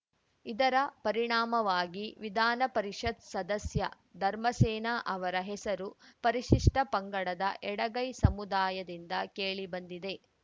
ಇದರ ಪರಿಣಾಮವಾಗಿ ವಿಧಾನಪರಿಷತ್‌ ಸದಸ್ಯ ಧರ್ಮಸೇನ ಅವರ ಹೆಸರು ಪರಿಶಿಷ್ಟಪಂಗಡದ ಎಡಗೈ ಸಮುದಾಯದಿಂದ ಕೇಳಿಬಂದಿದೆ